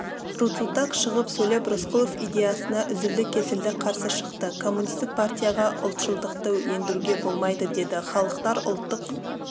рудзутак шығып сөйлеп рысқұлов идеясына үзілді-кесілді қарсы шықты коммунистік партияға ұлтшылдықты ендіруге болмайды деді халықтар ұлттық